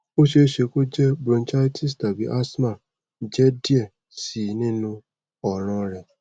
o ṣeeṣe ko je bronchitis tabi asthma jẹ diẹ sii ninu ọran rẹ